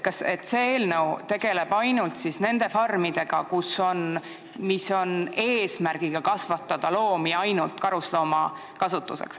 Kas see eelnõu tegeleb ainult nende farmidega, mille eesmärk on kasvatada loomi vaid karusnahkade saamiseks?